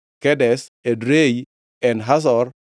Kedesh, Edrei, En Hazor,